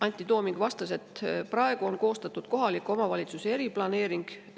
Antti Tooming vastas, et praegu on koostatud kohaliku omavalitsuse eriplaneering.